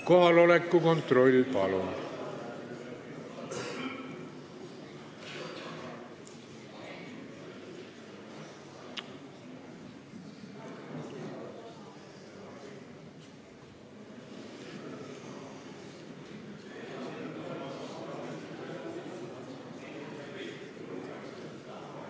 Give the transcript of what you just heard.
Kohaloleku kontroll, palun!